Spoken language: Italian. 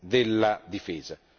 della difesa,